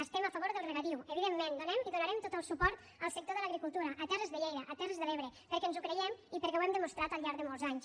estem a favor del regadiu evidentment donem i donarem tot el suport al sector de l’agricultura a terres de lleida a terres de l’ebre perquè ens ho creiem i perquè ho hem demostrat al llarg de molts anys